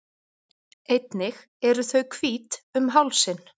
Einnig eru þau hvít um hálsinn.